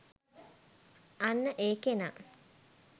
අන්න ඒ කෙනා